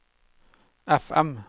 FM